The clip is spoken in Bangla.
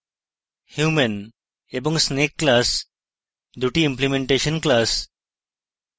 human এবং snake classes দুটি implementation classes